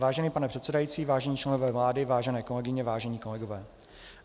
Vážený pane předsedající, vážení členové vlády, vážené kolegyně, vážení kolegové.